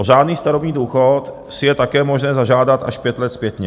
O řádný starobní důchod si je také možné zažádat až pět let zpětně.